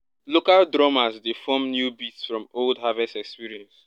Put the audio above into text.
local drummers dey form new beat from old harvest experience.